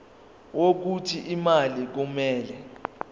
wokuthi imali kumele